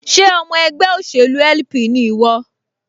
Ṣé ọmọ ẹgbẹ́ òṣèlú LP ni ìwọ?